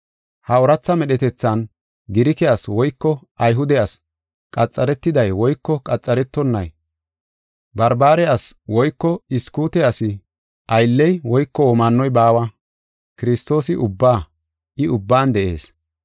Ha ooratha medhetethan, Girike asi woyko Ayhude asi, qaxaretiday woyko qaxaretonnay, Barbare asi woyko Iskute asi aylley woyko womaannoy baawa. Kiristoosi ubbaa; I ubban de7ees.